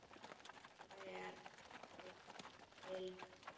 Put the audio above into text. Hver er Linja?